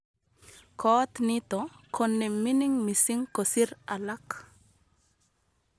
koot nito ko ne mining mising kosir alak